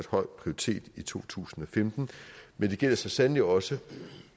høj prioritet i to tusind og femten men det gælder så sandelig også